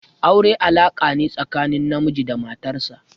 Aure alaka ne tsakanin namiji da matar sa.